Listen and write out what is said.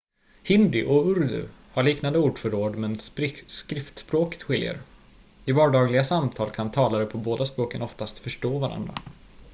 hindi och urdu har liknande ordförråd men skriftspråket skiljer i vardagliga samtal kan talare på båda språken oftast förstå varandra